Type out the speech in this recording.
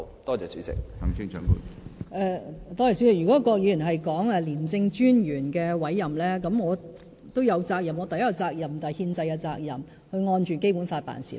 郭議員提到廉政專員的委任，就此我亦有責任，第一便是憲制責任，需要按《基本法》辦事。